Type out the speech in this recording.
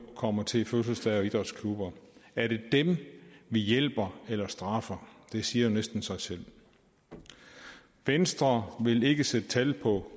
kommer til fødselsdage og idrætsklubber er det dem vi hjælper eller straffer det siger jo næsten sig selv venstre vil ikke sætte tal på